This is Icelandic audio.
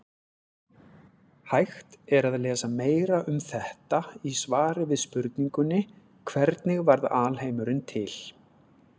Hægt er að lesa meira um þetta í svari við spurningunni Hvernig varð alheimurinn til?